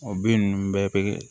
O bin ninnu bɛɛ bɛ